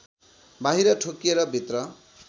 बाहिर ठोकिएर भित्र